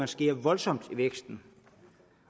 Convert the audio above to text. skærer voldsomt i væksten